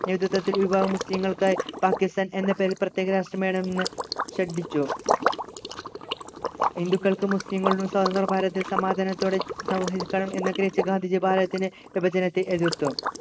നേതൃത്വത്തിൽ വിഭാഗം മുസ്ലിങ്ങൾക്കായി പാക്കിസ്ഥാൻ എന്ന പേരിൽ പ്രത്യേക രാഷ്ട്രം വേണമെന്ന് ശഠിച്ചു ഹിന്ദുക്കൾക്കും മുസ്ലീങ്ങൾക്കും സ്വതന്ത്ര ഭാരതത്തിൽ സമാധാനത്തോടെ സഹവസിക്കണം എന്നുവെച്ചു ഗാന്ധിജി ഭാരതത്തിൻ്റെ വിഭജനത്തെ എതിർത്തു